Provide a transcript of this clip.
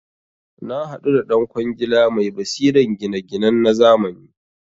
Nahadu da dan kwangila mai basiran gina ginan nazamani